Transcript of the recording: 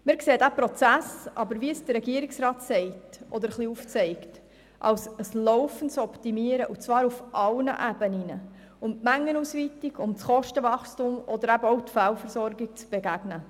Wir sehen diesen Prozess aber – wie es der Regierungsrat sagt oder etwas aufzeigt – als ein laufendes Optimieren und zwar auf allen Ebenen, um der Mengenausweitung, dem Kostenwachstum oder eben auch der Fehlversorgung zu begegnen.